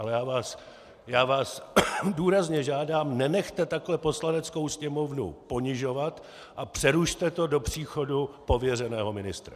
Ale já vás důrazně žádám, nenechte takhle Poslaneckou sněmovnu ponižovat a přerušte to do příchodu pověřeného ministra.